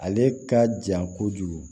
Ale ka jan kojugu